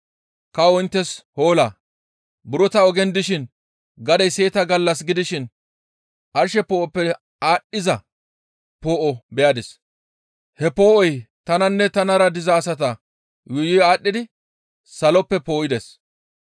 Kawo inttes hoola! Buro ta ogen dishin gadey seeta gallas gidishin arshe poo7oppe aadhdhiza poo7o beyadis; he poo7oy tananne tanara biza asata yuuyi aadhdhidi saloppe poo7ides.